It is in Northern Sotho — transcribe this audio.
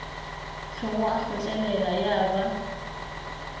hlwego a kgotlelela ya ba